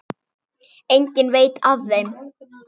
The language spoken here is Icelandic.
Enginn veit af þeim.